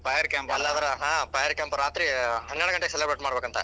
ಹಾ fire camp ರಾತ್ರಿ ಹನ್ನೆರಡ್ ಘಂಟೆಗೆ celebrate ಮಾಡ್ಬೇಕಂತ.